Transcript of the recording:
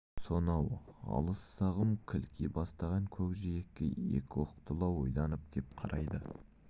сонау алыс сағым кілки бастаған көкжиекке екі оқтылау ойланып кеп қарайды